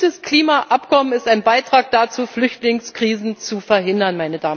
Und ein gutes Klimaabkommen ist ein Beitrag dazu, Flüchtlingskrisen zu verhindern.